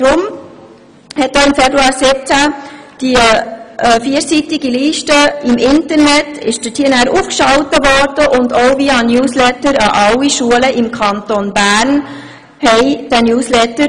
Deshalb wurde die vierseitige Liste im Internet aufgeschaltet, und via Newsletter wurden alle Schulen im Kanton Bern informiert.